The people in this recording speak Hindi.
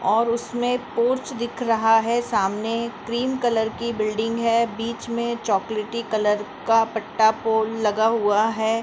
और उसमें पोर्च दिख रहा है सामने क्रीम कलर की बिल्डिंग है बिच में चॉकलेटी कलर का पट्टा पोल लगा हुआ है।